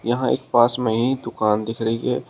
यहां एक पास में ही दुकान दिख रही है।